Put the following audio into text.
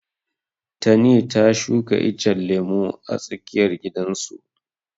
Tani ta shuka icen lemu a tsakiyar gidan su.